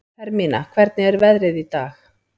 Hermína, hvernig er veðrið í dag?